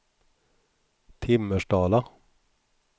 Timmersdala